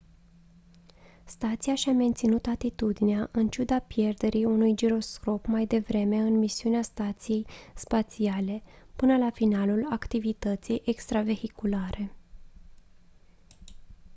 stația și-a menținut atitudinea în ciuda pierderii unui giroscop mai devreme în misiunea stației spațiale până la finalul activității extravehiculare